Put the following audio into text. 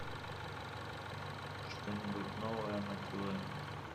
что нибудь новое на тв